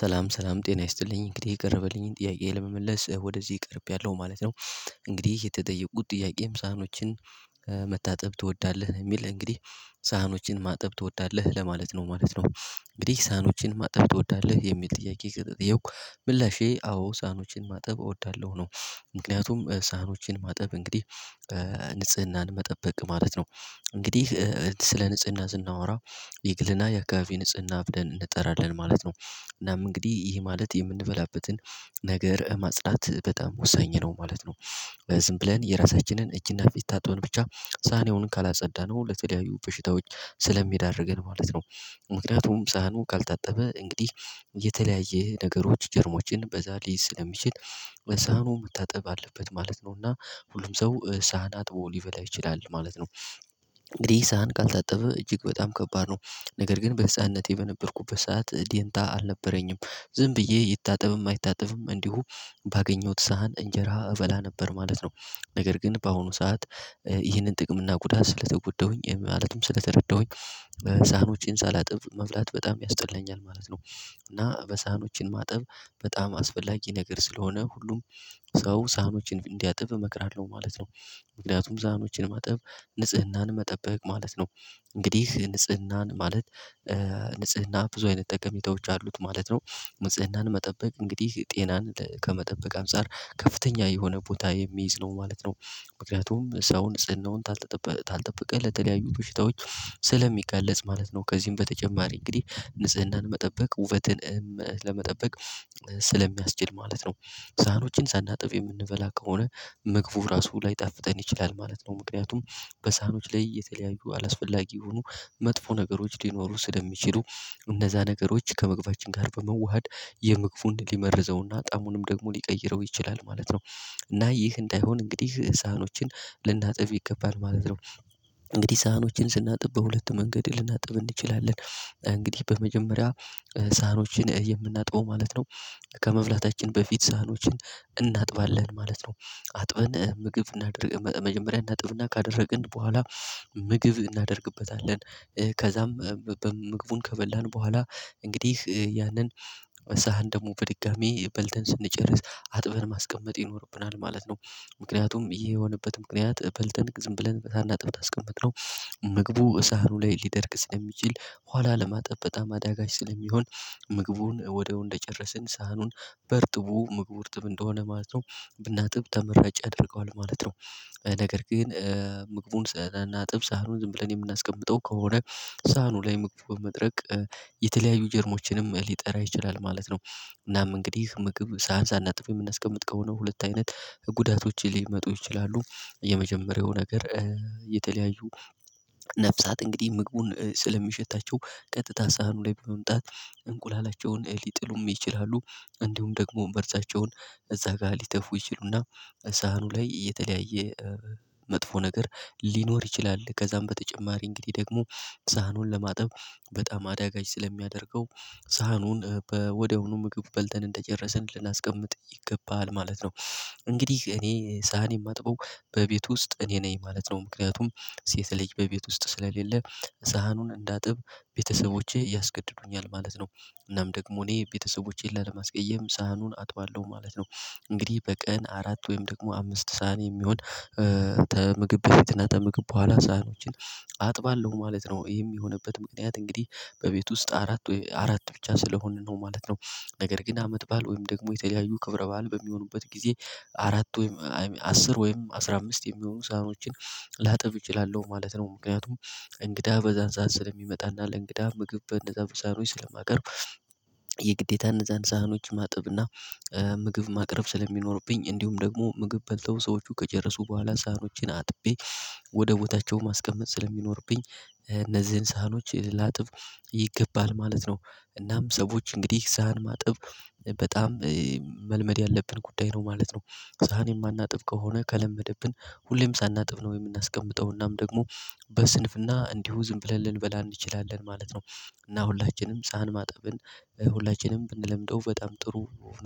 ሰላም ሰላም ጤና ይስጥልኝ እንግዲህ የቀርብልኝ ጥያቄ ለመመለስ ወደዚህ ቀርብያለሁ ማለት ነው። እንግዲህ የተጠየቁት ጥያቄም ሳህኖችን መታጠብ ትወዳለህ የሚል እንግዲህ ሳህኖችን ማጠብ ትወዳለህ ለማለት ነው ማለት ነው? እንግዲህ ሳኖችን ማጠብ ትወዳለህ የሚል ጥያቄ የተጠየቅሁ ምላሼ አዎ ሳኖችን ማጠብ እወዳለሁ ነው። ምክንያቱም ሳህኖችን ማጠብ እንግዲህ ንጽህናን መጠበቅ ማለት ነው። እንግዲህ ስለ ንጽህና ስናወራ የግልና የአካባቢ ንጽህና ብለን እንጠራለን ማለት ነው። እናም እንግዲህ ይሄ ማለት የምንበላበትን ነገር ማጽዳት በጣም ወሳኝ ነው ማለት ነው። ዝም ብለን የራሳችንን እጅና ፊት ታጥበን ብቻ ሳህኔውን ካላጸዳነው ለተለያዩ በሽታዎች ስለሚዳርገን ማለት ነው። ምክንያቱም ሳህኑ ካልታጠበ እንግዲህ የተለያየ ነገሮች ጀርሞችን በዛ ሊይዝ ስለሚችል ሳህኑ መታጠብ አለበት ማለት ነውና ሁሉም ሰው ሳህን አጥቦ ሊበላ ይችላል ማለት ነው። እንግዲህ ሳህን ካልታጠበ እጅግ በጣም ከባድ ነው። ነገር ግን በህፃንነቴ በነበርኩበት ሰዓት ዴንታ አልነበረኝም ዝም ብዬ ይታጠብም አይታጠብም እንዲሁ ባገኘሁት ሳህን እንጀራ እበላ ነበር ማለት ነው። ነገር ግን በአሁኑ ሰዓት ይህንን ጥቅም እና ጉዳት ስለተጎዳሁኝ ማለትም ስለተረዳሁኝ ሳህኖቼንው ሳላጥብ መብላት በጣም ያስጠላኛል ማለት ነው። እና በሳህኖችን ማጠብ በጣም አስፈላጊ ነገር ስለሆነ ሁሉም ሰው ሳህኖችን እንዲያጥብ እመክራለሁ ማለት ነው። ምክንያቱም ሳህኖችን ማጥብ ንጽህናን መጠበቅ ማለት ነው። እንግዲህ ንጽህናን ማለት ንጽህና ብዙ አይነት ጠቀሜታዎች አሉት ማለት ነው። ንጽህናን መጠበቅ እንግዲህ ጤናን ከመጠበቅ አምጻር ከፍተኛ የሆነ ቦታ የሚይዝ ነው ማለት ነው። ምክንያቱም ሰውን ጽንናውን ካልጠበቀ ለተለያዩ በሽታዎች ስለሚገለጽ ማለት ነው ከዚህም በተጨማሪ እንግዲህ ንጽህናን መጠበቅ ውበትን ለመጠበቅ ስለሚያስችል ማለት ነው። ሳህኖችን ሳናጥፍ የምንበላ ከሆነ መግቡ ራሱ ላይጣፍጠን ይችላል ማለት ነው። ምክንያቱም በሳህኖች ላይ የተለያዩ አላስፈላጊ የሆኑ መጥፎ ነገሮች ሊኖሩ ስለሚችሉ እንደዛ ነገሮች ከመግባታችን ጋር በመዋሃድ የምግቡን ሊመርዘውና ጣዕሙንም ደግሞ ሊቀይረው ይችላል ማለት ነው። እና ይህ እንዳይሆን እንግዲህ ሳህኖችን ልናጥብ ይገባል ማለት ነው። እንግዲህ ሳህኖችን ስናጥብ በሁለት መንገድ ልናጥብ እንችላለን እንግዲህ በመጀመሪያ ሳህኖችን የምናጥበው ማለት ነው። ከመብላታችን በፊት ሳህኖችን እናጥባለን ማለት ነው። አጥበን ምግብ እናደርግ መጀመሪያ እናጥብና ካደረግን በኋላ ምግብ እናደርግበታለን ከዛም ምግቡን ከበላን በኋላ እንግዲህ ያንን መሳህን ደግሞ በድጋሚ በልተን ስንጨርስ አጥበን ማስቀመጥ ይኖርብናል ማለት ነው። ምክንያቱም ይሄ የሆነበት ምክንያት በልተን ዝም ብለን ሳናጥብ አስቀመጥነው ምግቡ ሳህኑ ላይ ሊደርግ ስለሚችል ኋላ ለማጠበጣ አዳጋች ስለሚሆን ምግቡን ወደው እንደጨረስን ሳህኑን በርጥቡ ምግቡ ርጥብ እንደሆነ ማለት ነው። ብናጥብ ተመራጭ ያደርገዋል ማለት ነው። ነገር ግን ምግቡን ሳናጥብ ሳህኑን ዝም ብለን የምናስቀምጠው ከሆነ ሳህኑ ላይ መቅፈብ መድረቅ የተለያዩ ጀርሞችንም ሊጠራ ይችላል ማለት ነው። እናም እንግዲህ ምግብ ሳንህን ሳጥብ የምናስቀምጥ ከሆነ ሁለት አይነት ጉዳቶች ሊመጡ ይችላሉ። የመጀመሪያው ነገር የተለያዩ ነፍሳት እንግዲህ ምግቡን ስለሚሸታቸው ቀጥታ ሳህኑ ላይ ብሎ መምጣት እንቁላላቸውን ሊጥሉም ይችላሉ እንዲሁም ደግሞ መርዛቸውን እዛ ጋር ሊተፉ ይችሉና ሳህኑ ላይ የተለያየ መጥፎ ነገር ሊኖር ይችላል ከዛም በተጨማሪ እንግዲህ ደግሞ ሳህኑን ለማጠብ በጣም አዳጋች ስለሚያደርገው ሳህኑን ወደሆኑ ምግብ በልተን እንደጨረስን ልናስቀምጥ ይገባል ማለት ነው። እንግዲህ እኔ ሳህን የማጥበው በቤት ውስጥ እኔ ነኝ ማለት ነው ምክንያቱም ሴት ልጅ በቤት ውስጥ ስለሌለ ሳህኑን እንዳጥብ ቤተሰቦቼ ያስገድዱኛል ማለት ነው። እናም ደግሞ እኔ ቤተሰቦቼን ላለማስቀየም ሳህኑን አጥቷለሁ ማለት ነው። እንግዲህ በቀን አራት ወይም ደግሞ አምስት ሳህን የሚሆን ተምግብ በፊትና ተምግብ በኋላ ሳህኖችን አጥባለሁ ማለት ነው የሚሆንበት ምክንያት እንግዲህ በቤት ውስጥ አራት ወይ አራት ብቻ ስለሆንን ነው ማለት ነው። ነገር ግን አመት ባል ወይም ደግሞ የተለያዩ ክብረ ባል በሚሆኑበት ጊዜ አራት ወይም አስር ወይም አስራ አምስት የሚሆኑ ሳህኖችን ላጠብቅ እችላለሁ ማለት ነው ምክንያቱም እንግዳ በዛን ሳህን ስለሚመጣና ለእንግዳ ምግብ እንደዛ ሳህኖች ስለማቀር የግዴታ እነዛን ሳህኖች ማጥብ እና ምግብ ማቅረብ ስለሚኖርብኝ እንዲሁም ደግሞ ምግብ በልተው ሰዎቹ ከጨረሱ በኋላ ሳህኖችን አጥቤ ወደ ቦታቸው ማስቀመጥ ስለሚኖርብኝ እነዚህን ሳህኖች ላጥብ ይገባል ማለት ነው። እናም ሰዎች እንግዲህ ሳህን ማጥብ በጣም መልመድ ያለብን ጉዳይ ነው ማለት ነው። ዛን የማናጥብ ከሆነ ከለመደብን ሁሌም ሳናጥፍ ነው የምናስቀምጠውና ደግሞ በስንፍና እንዲሁ ዝም ብለን ልንበላ እንችላለን ማለት ነው። እና ሁላችንም ፀሀን ማጠብን ሁላችንም ብንለምደው በጣም ጥሩ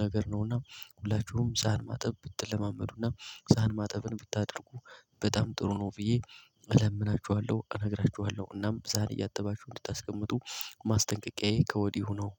ነገር ነው። እና ሁላችሁም ፀሀን ማጠብ ብትለማመዱና ዛን ማጠብን ብታደርጉ በጣም ጥሩ ነው። ብዬ እለምናችኋለሁ እነግራችኋለሁ እናም ብዛን እያጠባችሁ እንድታስቀምጡ ማስጠንቀቂያዬ ከወዲሁ ነው።